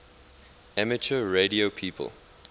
amateur radio people